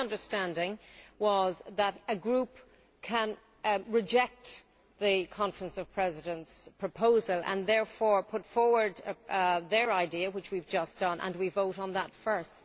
My understanding was that a group can reject the Conference of Presidents' proposal and therefore put forward its own idea which we have just done and that we vote on that first.